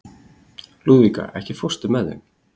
Lúðvíka, ekki fórstu með þeim?